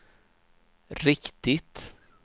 riktigt